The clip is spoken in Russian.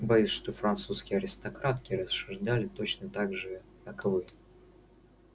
боюсь что французские аристократки рассуждали точно так же как вы